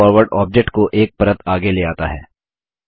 bring forward object को एक परत आगे ले आता है